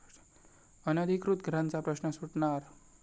अनधिकृत घरांचा प्रश्न सुटणार?